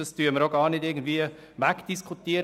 Das diskutieren wir nicht weg.